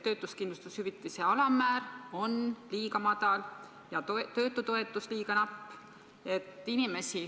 Töötuskindlustushüvitise alammäär on liiga madal ja töötutoetus liiga napp.